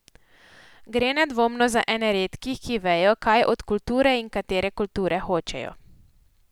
Gre nedvomno za ene redkih, ki vejo, kaj od kulture in katere kulture hočejo.